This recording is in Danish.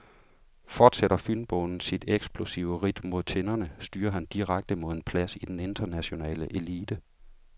Fortsætter fynboen sit eksplosive ridt mod tinderne, styrer han direkte mod en plads i den internationale elite.